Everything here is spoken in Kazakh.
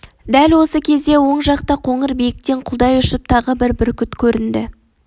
дәл осы кезде оң жақта қоңыр биіктен құлдай ұшып тағы бір бүркіт көрінді